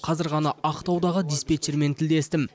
қазір ғана ақтаудағы диспетчермен тілдестім